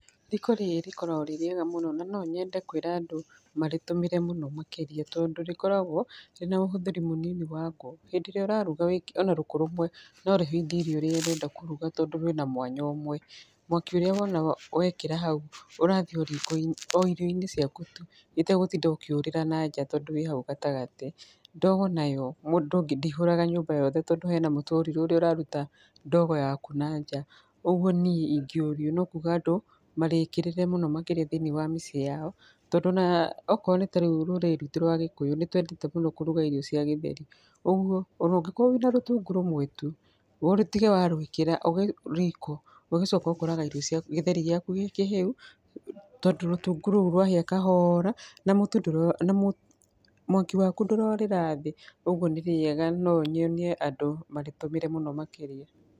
Riko rĩrĩ rĩkoragwo rĩrĩega mũno na no nyende kũĩra andũ marĩtũmĩre mũno makĩrĩa tondũ rĩkoragwo rĩna ũhũthĩri mũnini wa ngũ hindĩ ĩrĩa ũraruga ona rũkũ rũmwe no rĩhĩithie irio hĩndĩ ĩrĩa ũrenda kũrũga tondũ rwĩna mwanya ũmwe, mwaki ũrĩa ũrona wekĩra hau ũrathiĩ o irio-inĩ ciaku tu, itagũtinda ukĩorĩra na nja tondũ wĩ hau gatagatĩ, ndogo nayo ndĩ ihuraga gatagatĩ tondũ hena mũtũriro ũrĩa ũraruta ndogo yaku nanja kogũo niĩ ingĩ ũrio no kũga andũ marĩkĩrĩre mũno makĩrĩa thĩinĩ wa mĩciĩ yako tondũ okorwo nĩ ta rĩu rũrĩrĩ rwitũ rwa gĩkũyũ nĩ twendete mũno kũrũga irio cia gĩtheri, ũgũo ona ũngĩkorwo wĩna rũtungu rũmwe tũ ũtige warũĩkĩra riko ũgĩcoka ũkoraga gĩtheri gĩaku gĩkĩhĩu tondũ rũtungu rũu rwahĩa kahora na mwaki waku ndũrorĩra thĩ ũgũo nĩ rĩega no nyonie andũ marĩtũmĩre mũno makĩrĩa.